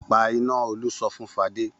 Pa iná! Olú sọ fún Fadé.